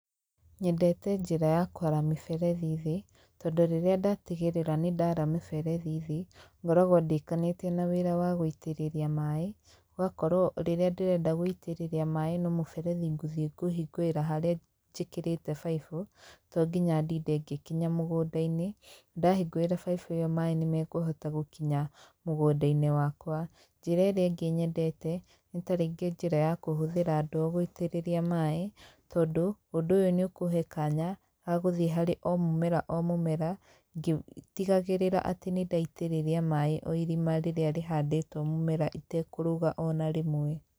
Nyendete njĩra ya kwara mĩberethi thĩ tondũ rĩrĩa ndatigĩrĩra nĩndara mĩberethi thĩ, ngoragwo ndĩkanĩtie na wĩra wa gũitĩrĩria maaĩ gũgakorwo rĩrĩa ndĩrenda gũitĩriria maaĩ no mũberethi ngũthiĩ kũhingũrĩra haria njĩkĩrĩte baibũ to nginya ndinde ngĩkinya mũgũndainĩ ndahingũrĩra baibũ ĩyo maaĩ nĩmakũhota gũkinya mũgũnda-inĩ wakwa. Njĩra ĩrĩa ĩngĩ nyendete nĩta rĩngĩ njĩra ya kũhũthĩra ndoo gũitĩrĩria maaĩ tondũ ũndũ ũyũ nĩũkũhe kanya gagũthiĩ harĩ o mũmera o mũmera ngĩtigagĩrĩra atĩ nĩndaitĩrĩria maaĩ o irima rĩrĩa rĩhandĩtwo mũmera itekũrũga o na rĩmwe.